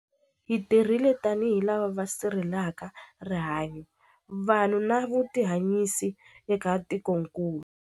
Hi tirhile tanihi lava va si rhelelaka rihanyu, vanhu na vutihanyisi eka tikokulu.